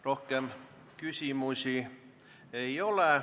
Rohkem küsimusi ei ole.